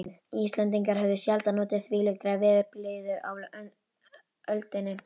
Íslendingar höfðu sjaldan notið þvílíkrar veðurblíðu á öldinni.